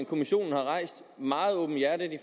kommissionen meget åbenhjertigt